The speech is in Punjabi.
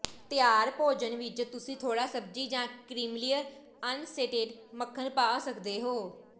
ਤਿਆਰ ਭੋਜਨ ਵਿਚ ਤੁਸੀਂ ਥੋੜਾ ਸਬਜ਼ੀ ਜਾਂ ਕ੍ਰੀਮੀਲੇਅਰ ਅਣਸਟੇਟ ਮੱਖਣ ਪਾ ਸਕਦੇ ਹੋ